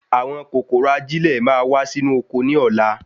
Àwọn kòkòrò ajilẹ́ ma wa Si inú oko ní ọlá